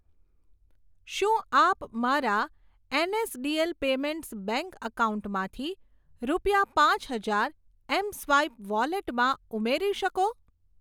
શું આપ મારા એનએસડીએલ પેમેન્ટ્સ બેંક એકાઉન્ટમાંથી રૂપિયા પાંચ હજાર એમસ્વાઈપ વોલેટમાં ઉમેરી શકો?